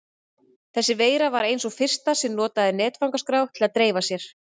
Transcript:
Þessi veira var ein sú fyrsta sem notaði netfangaskrá til að dreifa sér.